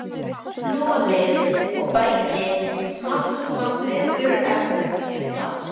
Hnoðið og bætið smátt og smátt við þurrefnum ef þarf.